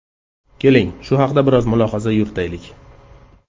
Keling, shu haqda biroz mulohaza yuritaylik.